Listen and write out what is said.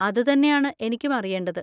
അതുതന്നെയാണ് എനിക്കും അറിയേണ്ടത്.